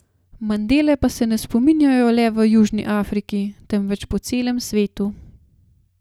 Mandele pa se ne spominjajo le v Južni Afriki, temveč po celem svetu.